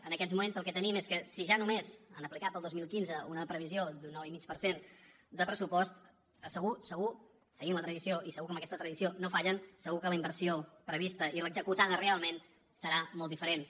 en aquests moments el que tenim és que si ja només han aplicat per al dos mil quinze una previsió d’un nou i mig per cent de pressupost segur segur seguint la tradició i segur que amb aquesta tradició no fallen segur que la inversió prevista i l’executada realment seran molt diferents